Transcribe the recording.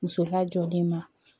Muso lajɔlen ma